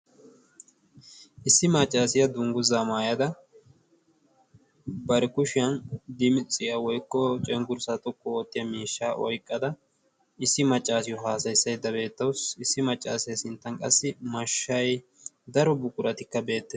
issi maaccaasiya dungguzaa maayada bari kushiyan dimitsiiya woykko cenggurssaa xoqqu oottiya miishshaa oyqqada issi maccaasiyo haasayissaydda beettawusu. issi maccaasee sinttan qassi mashshay daro buquratikka beettes.